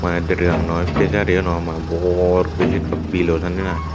ty deregang noi pejari o noi mane booor guri se ekka bilo sanne i.